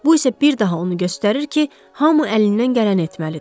Bu isə bir daha onu göstərir ki, hamı əlindən gələni etməlidir.